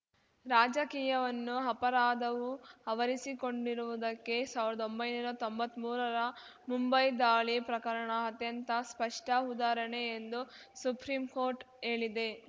ರಾಜಕೀಯವನ್ನು ಅಪರಾಧವು ಅವರಿಸಿಕೊಂಡಿರುವುದಕ್ಕೆ ಸಾವ್ರ್ದೊಂಬೈ ನೂರಾ ತೊಂಬತ್ಮೂರರ ಮುಂಬೈ ದಾಳಿ ಪ್ರಕರಣ ಅತ್ಯಂತ ಸ್ಪಷ್ಟಉದಾಹರಣೆ ಎಂದು ಸುಪ್ರೀಂಕೋರ್ಟ್‌ ಹೇಳಿದೆ